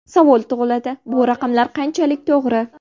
Savol tug‘iladi: bu raqamlar qanchalik to‘g‘ri?